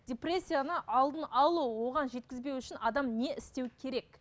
депрессияны алдын алу оған жеткізбеу үшін адам не істеу керек